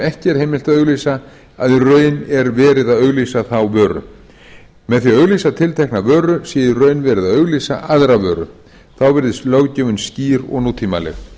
ekki er heimilt að auglýsa að í raun er verið að auglýsa þá vöru með því að auglýsa tiltekna vöru sé í raun verið að auglýsa aðra vöru þá virðist löggjöfin skýr og nútímaleg